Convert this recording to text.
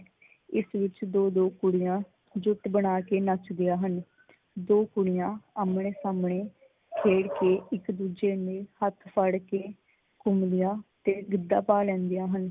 ਇਸ ਵਿੱਚ ਦੋ ਦੋ ਕੁੜੀਆ ਜੁੱਟ ਬਣਾ ਕੇ ਨੱਚਦੀਆਂ ਹਨ। ਦੋ ਕੁੜੀਆਂ ਆਹਮਣੇ ਸਾਹਮਣੇ ਖੇਲ ਕੇ ਇੱਕ ਦੂਜੇ ਨੂੰ ਲਈ ਹੱਥ ਫੜ ਕੇ ਘੁਮੰਦਿਆ ਤੇ ਗਿੱਧਾ ਪਾ ਲੈਂਦੀਆ ਹਨ।